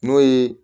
N'o ye